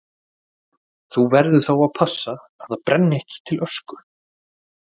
Þú verður þá að passa að það brenni ekki til ösku.